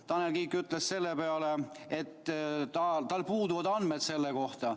Tanel Kiik ütles selle peale, et tal puuduvad andmed selle kohta.